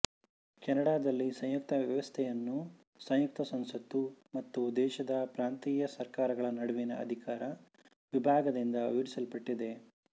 ಕೆನಡಾದಲ್ಲಿ ಸಂಯುಕ್ತ ವ್ಯವಸ್ಥೆಯನ್ನು ಸಂಯುಕ್ತ ಸಂಸತ್ತು ಮತ್ತು ದೇಶದ ಪ್ರಾಂತೀಯ ಸರ್ಕಾರಗಳ ನಡುವಿನ ಅಧಿಕಾರ ವಿಭಾಗದಿಂದ ವಿವರಿಸ್ಪಟ್ಟಿದೆ